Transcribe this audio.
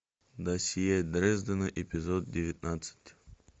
досье дрездена эпизод девятнадцать